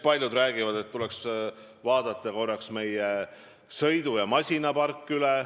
Paljud räägivad sellest, et tuleks vaadata üle meie sõidu- ja masinapark.